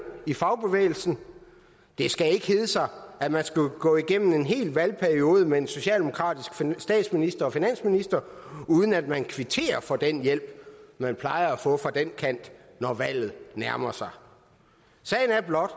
i fagbevægelsen det skal ikke hedde sig at man skal gå igennem en hel valgperiode med en socialdemokratisk statsminister og finansminister uden at man kvitterer for den hjælp man plejer at få fra den kant når valget nærmer sig sagen er blot